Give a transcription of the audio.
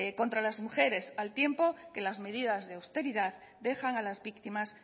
contra las mujeres al tiempo que las medidas de austeridad dejan a las víctimas